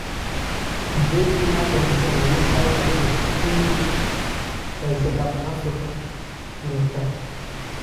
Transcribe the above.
tibeet inaton koname sait agenge ak nusu saisieg ap Africa murot tai